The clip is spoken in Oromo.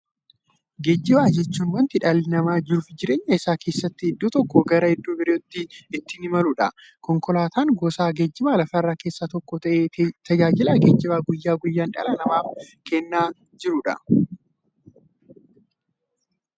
Geejjiba jechuun wanta dhalli namaa jiruuf jireenya isaa keessatti iddoo tokkoo gara iddoo birootti ittiin imaluudha. Konkolaatan gosa geejjibaa lafarraa keessaa tokko ta'ee, tajaajila geejjibaa guyyaa guyyaan dhala namaaf kenna.